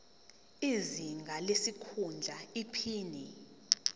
izinga lesikhundla iphini